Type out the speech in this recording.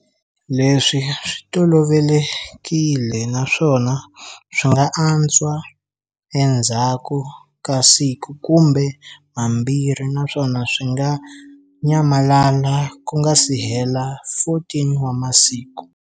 Leswi swi tolovelekile naswona swi nga antswa endzhaku ka siku kumbe mambirhi naswona swi nga nyamalala ku nga sihela 14 wa masiku.